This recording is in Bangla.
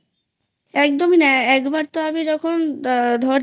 একদমই না একবার তো আমি যখন ধর